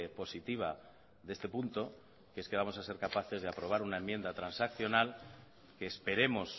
positiva de este punto que es que vamos a ser capaces de aprobar una enmienda transaccional que esperemos